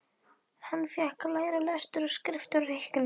Hann fékk að læra lestur og skrift og reikning.